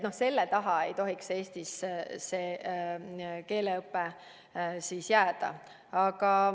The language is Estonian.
Selle taha ei tohiks Eestis keeleõpe jääda.